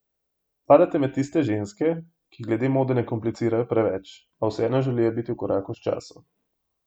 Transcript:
Spadate med tiste ženske, ki glede mode ne komplicirajo preveč, a vseeno želijo biti v koraku s časom?